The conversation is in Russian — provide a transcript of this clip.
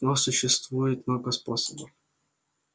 но существует много способов